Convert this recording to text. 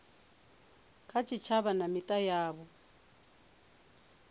kha tshitshavha na mita yavho